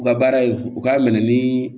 U ka baara ye u k'a minɛ ni